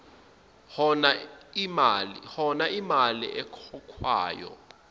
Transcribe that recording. hona iimali ekhokhwayo